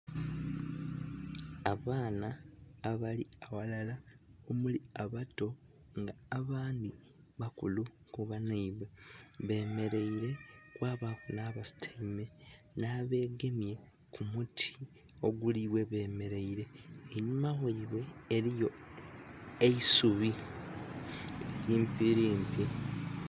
Abaana abali aghalala omuli abato nga abandhi bakulu ku banhaibwe, bemereire kwabaku nha basutaime nha begemye ku muti oguli ghe bemereire einhuma ghaibwe eriyo eisubi limpi limpi.